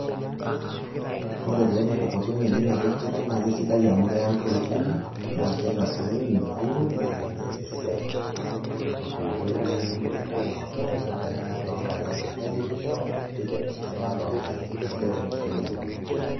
Ore taa emukokoteni teninapie enkare naa kesidai amu keya iltooi kumok naa kitasioyo minauru naa kees esiai tenkoitoi nimikintanaur ore naa eninap toonkaik naa kejipisho oderekej teninap toonkaik, kesidai tenintumiaa emukokoteni.